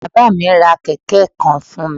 Bábá à mí ra kèké kan fún mi